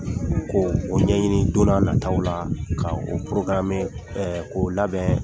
Ko o ɲɛ ɲini don na nataw la ka o porogarame ɛ